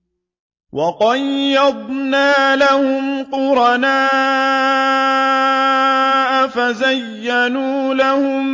۞ وَقَيَّضْنَا لَهُمْ قُرَنَاءَ فَزَيَّنُوا لَهُم